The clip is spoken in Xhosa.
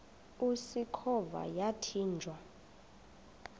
usikhova yathinjw a